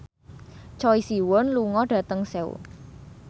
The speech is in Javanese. Choi Siwon lunga dhateng Seoul